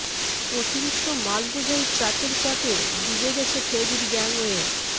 অতিরিক্ত মাল বোঝাই ট্রাকের চাপে ডুবে গেছে ফেরির গ্যাংওয়ে